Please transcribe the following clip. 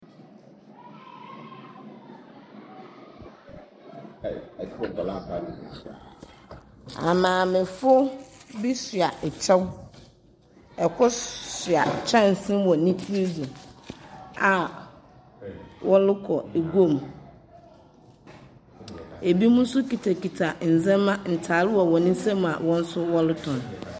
Amaamefoɔ bi soa kyɛw. Kor soa kyɛnse wɔ ne tsir do a wɔrokɔ guam. Ebinom nso kitakita ndzɛma ntar wɔ hɔn nsam a wɔn nso wɔrotɔn.